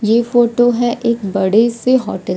ये फोटो है एक बड़े से होटल --